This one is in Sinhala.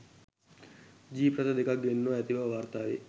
ජීප් රථ දෙකක් ගෙන්වා ඇති බව වාර්තාවේ.